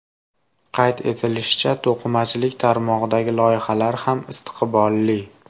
Qayd etilishicha, to‘qimachilik tarmog‘idagi loyihalar ham istiqbolli.